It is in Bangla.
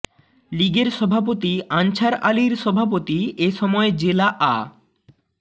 লীগের সভাপতি আনছার আলীর সভাপতি এ সময় জেলা আ